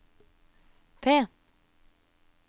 P